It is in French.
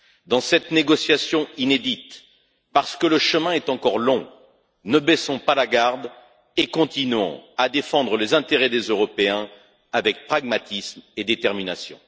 Dans cette négociation inédite, parce que le chemin est encore long, ne baissons pas la garde et continuons à défendre les intérêts des Européens avec pragmatisme et détermination.